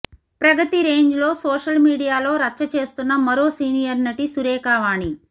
ప్రగతి రేంజ్లో సోషల్ మీడియాలో రచ్చ చేస్తున్న మరో సీనియర్ నటి సురేఖా వాణి